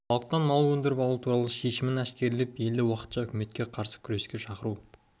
халықтан мал өндіріп алу туралы шешімін әшкерелеп елді уақытша үкіметке қарсы күреске шақыру